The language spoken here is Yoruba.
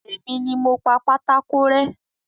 Èmi ni mo pa pátákó rẹ́